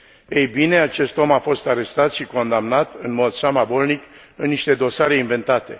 Ei bine, acest om a fost arestat și condamnat, în mod samavolnic, în niște dosare inventate.